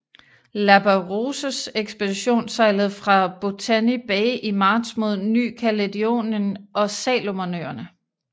Lapérouses ekspedition sejlede fra Botany Bay i marts mod Ny Caledonien og Salomonøerne